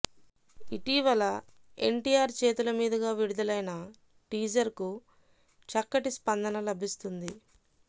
ఇటీవల ఎన్టీఆర్ చేతుల మీదుగా విడుదలైన టీజర్ కు చక్కటి స్పందన లభిస్తుంది